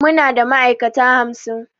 Muna da ma'aikata hamsin